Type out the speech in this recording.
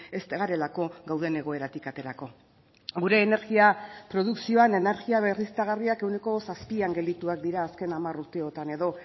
ez garelako gauden egoeratik aterako gure energia produkzioan energia berriztagarriak ehuneko zazpian geldituak dira azken hamar urteotan edo